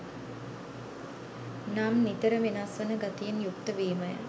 නම් නිතර වෙනස් වන ගතියෙන් යුක්ත වීමය.